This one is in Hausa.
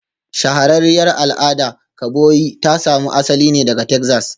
Shahararriyar al'adar kaboyi ta samo asali ne daga Texas